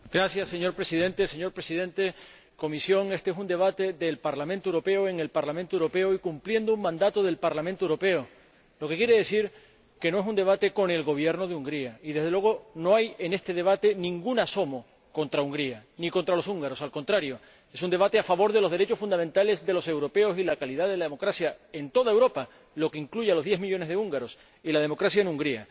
Señor Presidente, señor Presidente de la Comisión, éste es un debate del Parlamento Europeo en el Parlamento Europeo y cumpliendo un mandato del Parlamento Europeo, lo que quiere decir que no es un debate con el Gobierno de Hungría y, desde luego, no hay en este debate ningún asomo contra Hungría ni contra los húngaros. Al contrario, es un debate a favor de los derechos fundamentales de los europeos y de la calidad de la democracia en toda Europa, lo que incluye a los diez millones de húngaros, y de la democracia en Hungría.